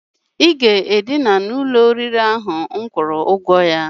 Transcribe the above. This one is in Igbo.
I ga-edina n'ụlọ oriri ahụ m kwụrụ ụgwọ ya!